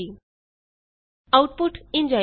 output ਇੰਝ ਆਏਗੀ a ਅਤੇ b ਦਾ ਜੋੜ 12 ਹੈ